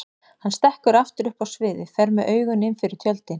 Hann stekkur aftur upp á sviðið, fer með augun innfyrir tjöldin.